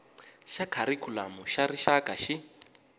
xa kharikhulamu xa rixaka xi